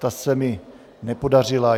Ta se mi nepodařila.